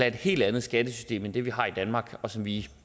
et helt anden skattesystem end det vi har i danmark og som vi